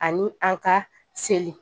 Ani an ka seli